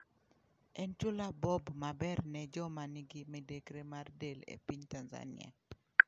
En chula Bob maber ne joma nigi midekre mar del e piny Tanzania?